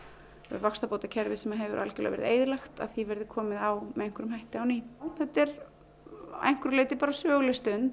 vaxtabótakerfið sem að hefur algjörlega verið eyðilagt að því verði komið á með einhverjum hætti á ný þetta er að einhverju leyti söguleg stund